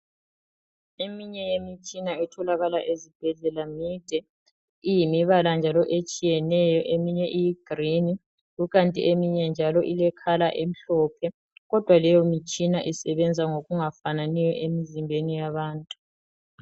Eminye yemitshina etholakala ezibhedlela mide iyimibala njalo etshiyeneyo eminye iyigreen kukanti eminye njalo ile colour emhlophe kodwa leyo mitshina isebenza ngokungafananiyo emzimbeni yabantu.